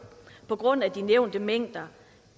på grund af de nævnte mængder